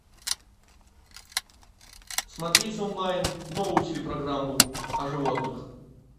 смотреть онлайн новую телепрограмму о животных